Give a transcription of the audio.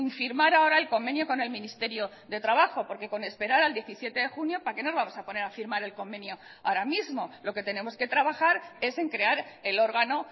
firmar ahora el convenio con el ministerio de trabajo porque con esperar al diecisiete de junio para qué nos vamos a poner a firmar el convenio ahora mismo lo que tenemos que trabajar es en crear el órgano